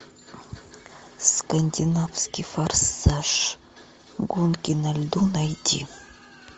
скандинавский форсаж гонки на льду найти